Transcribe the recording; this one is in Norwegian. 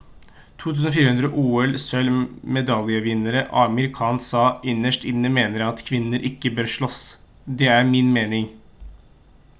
2004 ol-sølv-medaljevinner amir khan sa: «innerst inne mener jeg at kvinner ikke bør slåss. det er min mening»